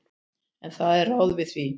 En það eru ráð við því.